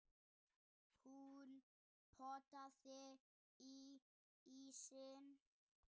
Hún potaði í ísinn.